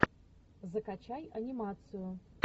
закачай анимацию